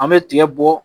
An bɛ tigɛ bɔ